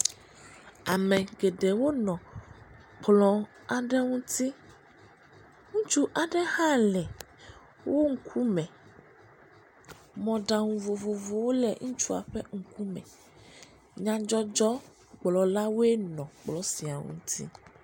Ame geɖewo nɔ kplɔ aɖe ŋuti, ŋutsu aɖe hã le wo ŋkume, mɔɖaŋu vovovowo le ŋutsua ƒe ŋkume, nyadzɔdzɔgblɔlawoe nɔ kplɔ sia ŋuti.